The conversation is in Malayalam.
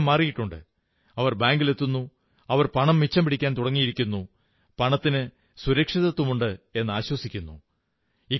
അവരുടെ ശീലം മാറിയിട്ടുണ്ട് അവർ ബാങ്കിൽ എത്തുന്നു അവർ പണം മിച്ചം പിടിക്കാൻ തുടങ്ങിയിരിക്കുന്നു പണത്തിന് സുരക്ഷിതത്വമുണ്ടെന്നാശ്വസിക്കുന്നു